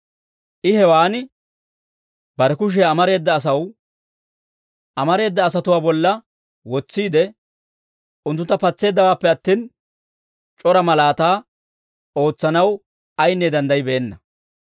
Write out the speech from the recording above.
I hewaan bare kushiyaa amareeda asatuwaa bolla wotsiide, unttuntta patseeddawaappe attin, c'ora malaataa ootsanaw ayinne danddaybbeenna.